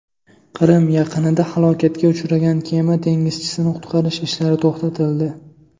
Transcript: Qrim yaqinida halokatga uchragan kema dengizchisini qutqarish ishlari to‘xtatildi.